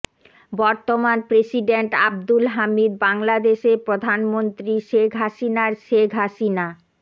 বর্তমান প্রেসিডেন্ট আবদুল হামিদ বাংলাদেশের প্রধানমন্ত্রী শেখ হাসিনার শেখ হাসিনা